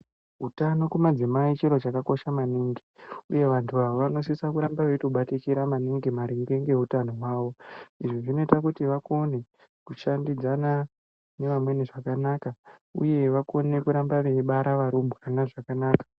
Utano kumadzimai chiro chakakosha maningi uye vantu ava vanosisa kuramba veitobatikira maningi maringe ngeutano hwawo. Izvi zvinoita kuti vakone kushandidzana nevamweni zvakanaka uye vakone kuramba veibara varumbwana zvakanaka.